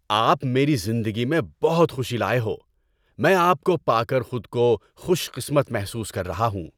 آپ میری زندگی میں بہت خوشی لائے ہو۔ میں آپ کو پا کر خود کو خوش قسمت محسوس کر رہا ہوں۔